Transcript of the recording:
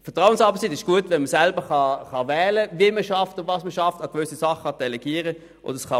Vertrauensarbeitszeit ist gut, wenn man selber wählen kann, wie und was man arbeitet und welche Dinge man delegieren kann.